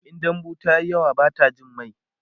in dambu tayi yawa Bata Jin mai